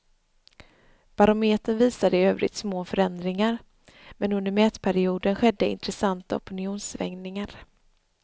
Barometern visar i övrigt små förändringar, men under mätperioden skedde intressanta opinionssvängningar.